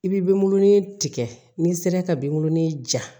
I b'i bengɔnin tigɛ n'i sera ka binbulon ni ja